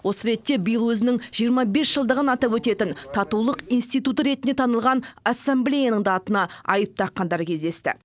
осы ретте биыл өзінің жиырма бес жылдығын атап өтетін татулық институты ретінде танылған ассамблеяның да атына айып таққандар кездесті